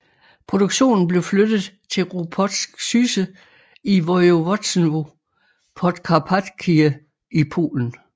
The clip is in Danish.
Produktionen blev flyttet til Ropczyce i Województwo podkarpackie i Polen